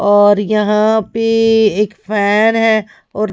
और यहां पे एक फैन हैऔर।